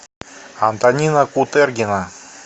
антонина кутергина